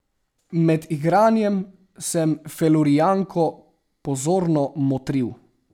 Med igranjem sem Felurijanko pozorno motril.